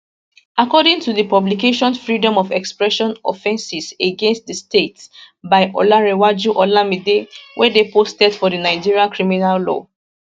according to di publication freedom of expression offences against di state by olanrewaju olamide wey dey posted for di nigerian criminal law